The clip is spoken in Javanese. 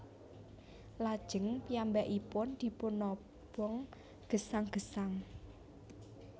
Lajeng piyambakipun dipunobong gesang gesang